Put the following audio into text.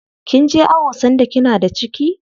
Kinje awo sanda kina da ciki?